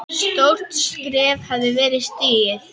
Stórt skref hafði verið stigið.